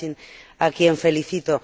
Kacin, a quien felicito.